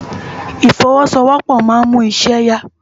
Ifòwòsówòpò má n mú iṣè yá